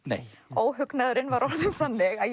óhugnaðurinn var orðinn þannig að